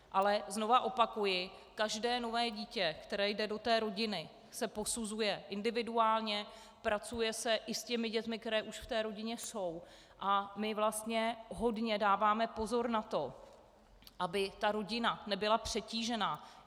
Ale znovu opakuji, každé nové dítě, které jde do té rodiny, se posuzuje individuálně, pracuje se i s těmi dětmi, které už v té rodině jsou, a my vlastně hodně dáváme pozor na to, aby ta rodina nebyla přetížená.